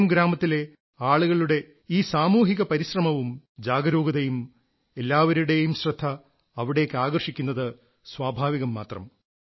മിറേം ഗ്രാമത്തിലെ ഈ ആളുകളുടെ ഈ സാമൂഹിക പരിശ്രമവും ജാഗരൂകതയും എല്ലാവരുടെയും ശ്രദ്ധ അവിടേക്ക് ആകർഷിക്കുന്നത് സ്വാഭാവികം മാത്രം